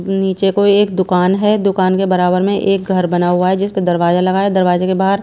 नीचे को एक दुकान है दुकान के बराबर में एक घर बना हुआ है जिसपे दरवाजा लगा है दरवाजे के बाहर--